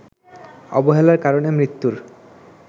অবহেলার কারণে মৃত্যুর